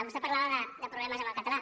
vostè parlava de problemes amb el català